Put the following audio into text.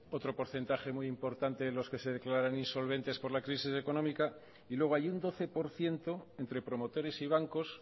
otro porcentaje muy importante de los que se declara insolvente por la crisis económica y luego hay un doce por ciento entre promotores y bancos